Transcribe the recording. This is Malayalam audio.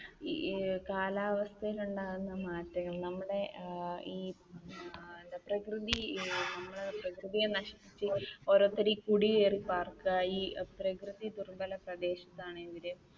ഈ കാലാവസ്ഥയിൽ ഉണ്ടാകുന്ന മാറ്റങ്ങൾ നമ്മുടെ ഈ പ്രകൃതിയെ നശിപ്പിച്ചുകൊണ്ടു ഓരോരുത്തർ കുടിയേറി പാർക്കുക ഈ പ്രകൃതി പ്രദേശത്ത് ആണെങ്കില്